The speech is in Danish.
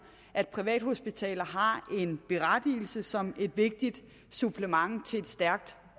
at privathospitaler har en berettigelse som et vigtigt supplement til et stærkt